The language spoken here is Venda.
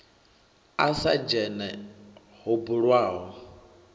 a sa dzhene ho bulwaho